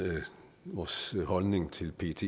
vores holdning til pet